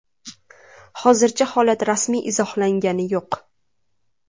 Hozircha holat rasmiy izohlangani yo‘q.